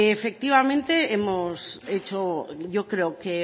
efectivamente hemos hecho yo creo que